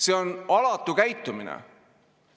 See on alatu käitumine.